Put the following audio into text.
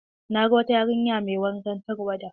Na ga wata yarinya mai wankan tarwaɗa.